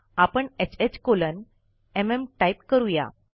आपण ह्ह colon MM type करू या